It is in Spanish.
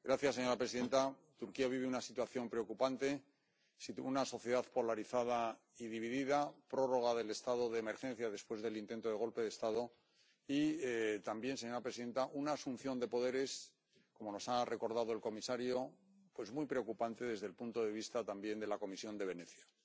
Señora presidenta, Turquía vive una situación preocupante una sociedad polarizada y dividida, la prórroga del estado de emergencia después del intento de golpe de Estado y también, señora presidenta, una asunción de poderes, como nos ha recordado el comisario, muy preocupante desde el punto de vista también de la Comisión de Venecia.